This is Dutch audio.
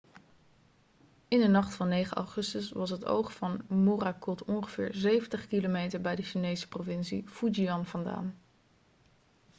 in de nacht van 9 augustus was het oog van morakot ongeveer 70 km bij de chinese provincie fujian vandaan